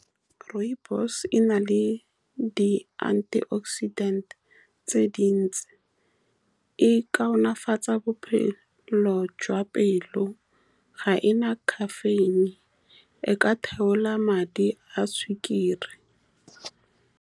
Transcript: Rooibos-e e na le di-antioxidant-e tse dintsi e ka nonofatsa bophelo jwa pelo. Ga e na caffeine e ka theola madi a sukiri.